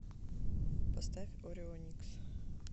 поставь орионикс